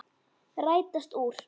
Rætast úr?